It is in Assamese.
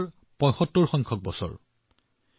মোৰ মৰমৰ দেশবাসীসকল এয়া স্বাধীনতাৰ ৭৫ তম বছৰ